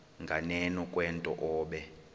nganeno kwento obe